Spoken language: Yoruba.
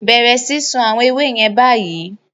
Bẹ̀rẹ̀ sísun àwọn ewé yẹn báyìí!